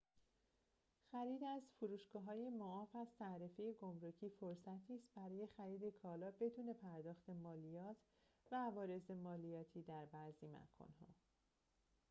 خرید از فروشگاه‌های معاف از تعرفه گمرکی فرصتی است برای خرید کالا بدون پرداخت مالیات و عوارض مالیاتی در بعضی مکان‌ها